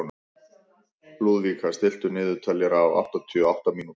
Lúðvíka, stilltu niðurteljara á áttatíu og átta mínútur.